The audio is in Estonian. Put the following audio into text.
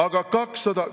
Aga 200 ...